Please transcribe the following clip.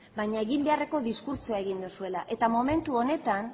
baina egin beharreko diskurtsoa egin duzuela eta momentu honetan